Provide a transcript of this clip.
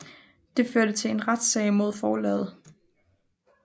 Det førte til en retssag mod forlaget